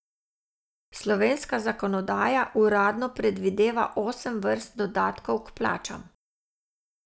Slovenska zakonodaja uradno predvideva osem vrst dodatkov k plačam.